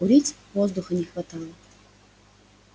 курить воздуха не хватало